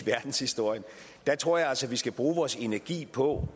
verdenshistorien tror jeg altså vi skal bruge vores energi på